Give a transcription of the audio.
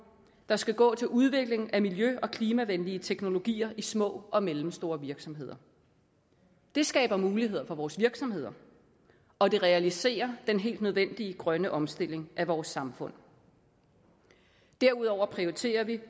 der skal gå til udvikling af miljø og klimavenlige teknologier i små og mellemstore virksomheder det skaber muligheder for vores virksomheder og det realiserer den helt nødvendige grønne omstilling af vores samfund derudover prioriterer vi